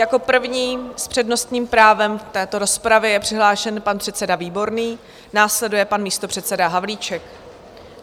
Jako první s přednostním právem v této rozpravě je přihlášen pan předseda Výborný, následuje pan místopředseda Havlíček.